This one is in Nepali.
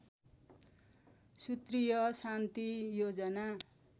सूत्रीय शान्ति योजना